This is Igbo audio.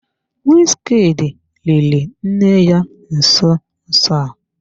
Wizkid liri nne ya nso nso a.